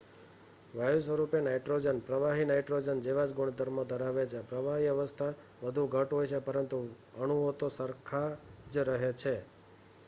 વાયુ સ્વરૂપે નાઈટ્રોજન પ્રવાહી નાઈટ્રોજન જેવા જ ગુણધર્મો ધરાવે છે પ્રવાહી અવસ્થા વધુ ઘટ્ટ હોય છે પરંતુ અણુઓ તો પણ સરખા જ રહે છે